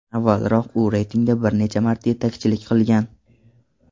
Avvalroq u reytingda bir necha marta yetakchilik qilgan.